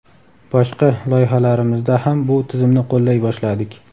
boshqa loyihalarimizda ham bu tizimni qo‘llay boshladik!.